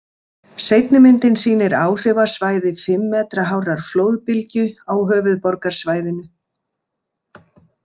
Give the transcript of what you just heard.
Seinni myndin sýnir áhrifasvæði fimm metra hárrar flóðbylgju á höfuðborgarsvæðinu.